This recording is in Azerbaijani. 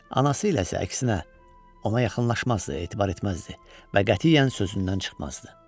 Anası ilə isə əksinə, ona yaxınlaşmazdı, etibar etməzdi və qətiyyən sözündən çıxmazdı.